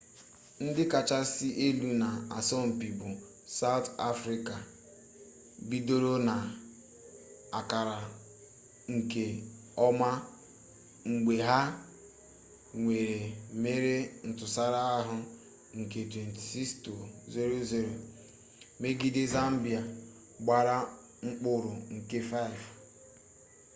ndi kachasị elu na asọmpi bu south africa bidoro na akara nke oma mgbe ha nwere mmeri ntụsara ahụ nke 26 - 00 megide zambia gbara mkpụrụ nke 5